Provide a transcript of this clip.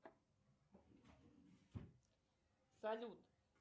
салют